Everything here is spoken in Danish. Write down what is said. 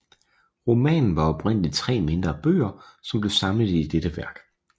Romanen var oprindeligt 3 mindre bøger som blev samlet i dette værk